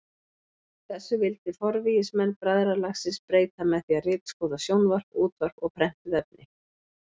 Þessu vildi forvígismenn bræðralagsins breyta með því að ritskoða sjónvarp, útvarp og prentuð efni.